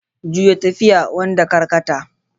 Juya tafiya, wanda karkata.